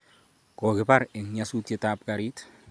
kokibar eng nyasutiet ab garit